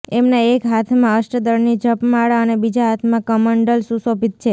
એમના એક હાથમાં અષ્ટદળની જપમાળા અને બીજા હાથમાં કમંડલ સુશોભિત છે